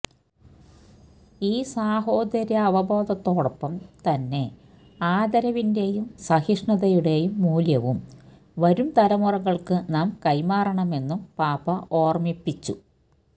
ഈ സാഹോദര്യാവബോധത്തോടൊപ്പം തന്നെ ആദരവിന്റെയും സഹിഷ്ണുതയുടെയും മൂല്യവും വരും തലമുറകൾക്ക് നാം കൈമാറണമെന്നും പാപ്പ ഓർമ്മിപ്പിച്ചു